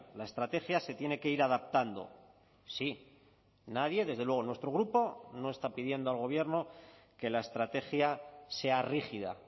la estrategia se tiene que ir adaptando sí nadie desde luego nuestro grupo no está pidiendo al gobierno que la estrategia sea rígida